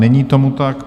Není tomu tak.